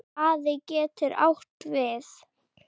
Spaði getur átt við